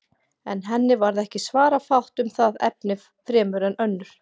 En henni varð ekki svara fátt um það efni fremur en önnur.